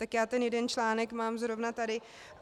Tak já ten jeden článek mám zrovna tady.